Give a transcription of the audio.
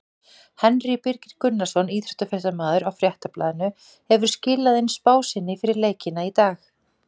Henry Birgir Gunnarsson, íþróttafréttamaður á Fréttablaðinu hefur skilað inn spá sinni fyrir leikina í dag.